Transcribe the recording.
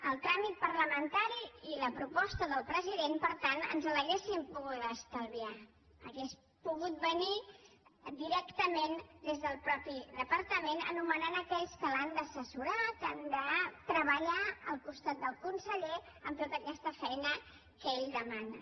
el tràmit parlamentari i la proposta del president per tant en l’hauríem pogut estalviar hauria pogut venir directament des del mateix departament nomenant aquells que l’han d’assessorar que han de treballar al costat del conseller en tota aquesta feina que ell de·mana